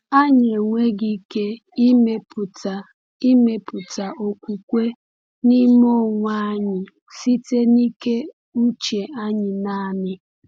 Anyị enweghị ike ịmepụta ịmepụta okwukwe n’ime onwe anyị site na ike uche anyị naanị.